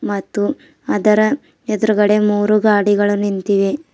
ಮತ್ತು ಅದರ ಎದ್ರುಗಡೆ ಮೂರು ಗಾಡಿಗಳು ನಿಂತಿವೆ.